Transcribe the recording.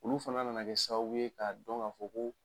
Olu fana nana sababu ye k'a dɔn k'a fɔ ko